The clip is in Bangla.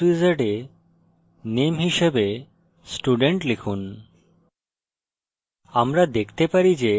new java class wizard এ name হিসাবে student লিখুন